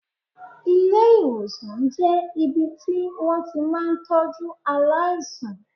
Ilé ìwòsàn jẹ́ ibi tí wón ti máa ń tọ́jú aláìsàn.